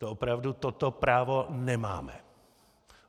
To opravdu toto právo nemáme.